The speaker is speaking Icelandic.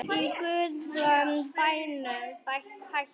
Í guðanna bænum hættu